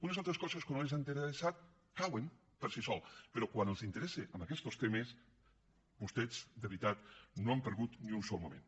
unes altres coses que no els han interessat cauen per si soles però quan els interessa en aquests temes vostès de veritat no hi han perdut ni un sol moment